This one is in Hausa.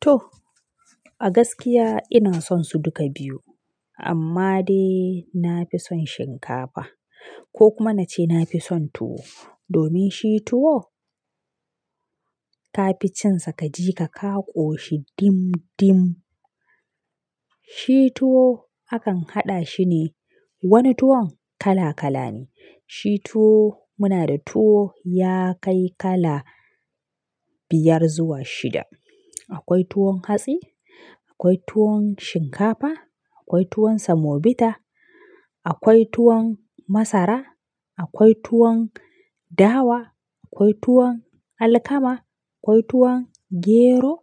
To a gaskiya ina son su duka biyu amma dai na fi son shinkafa ko kuma na ce na fi son tuwo domin shi tuwo ka fi cin sa kaji ka ka ƙoshi dim dim. Shi tuwo akan haɗa shi ne wani tuwon kala kala ne. Shi tuwo muna da tuwo ya kai kala biyar zuwa shida. Akwai tuwon hatsi, akwai tuwon shinkafa, akwai tuwon semobita, akwai tuwon masara, akwai tuwon dawa, akwai tuwon alkama, akwai tuwon gero,